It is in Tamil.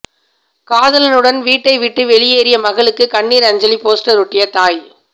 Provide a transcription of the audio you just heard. காதலனுடன் வீட்டை விட்டு வெளியேறிய மகளுக்கு கண்ணீர் அஞ்சலி போஸ்டர் ஒட்டிய தாய்